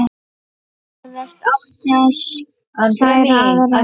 Forðast átti að særa aðra.